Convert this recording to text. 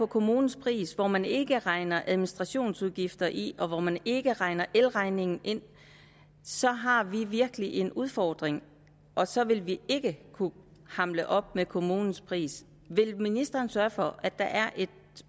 kommunens pris hvor man ikke regner administrationsudgifterne ind og hvor man ikke regner elregningen ind så har vi virkelig en udfordring og så vil vi ikke kunne hamle op med kommunens pris vil ministeren sørge for at der er et